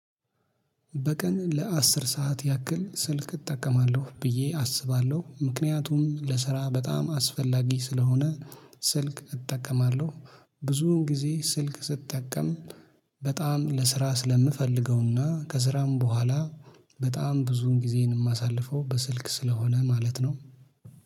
በቀን ለአስር ሰዓት ያክል ስልክ እጠቀማለሁ ብዬ አስባለሁ ምክንያቱም ለስራ በጣም አስፈላጊ ስለሆነ በቀን ለአስር ሰዓት ያክል ስልክ እጠቀማለሁ ብዬ አስባለሁ። ምክንያቱም ለስራ በጣም አስፈላጊ ስለሆነ በጣም ብዙን ጊዜን የማሳልፈው በስልክ ስለሆነ ማለት ነው